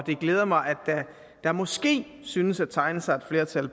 glæder mig at der måske synes at tegne sig et flertal